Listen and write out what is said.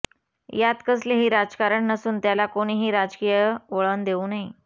यात कसले ही राजकारण नसून त्याला कोणीही राजकीय वळण देऊ नये